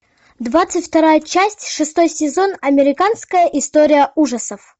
двадцать вторая часть шестой сезон американская история ужасов